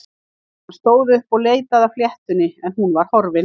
Hann stóð upp og leitaði að fléttunni en hún var horfin.